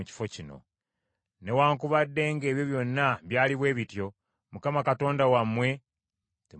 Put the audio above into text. Newaakubadde ng’ebyo byonna byali bwe bityo, Mukama Katonda wammwe temwamwesiga,